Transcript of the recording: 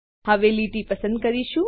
હવે લીટી પસંદ કરીશું